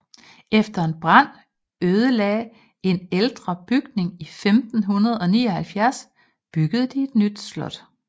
Efter en brand ødelagde en ældre bygning i 1579 byggede de et nyt slot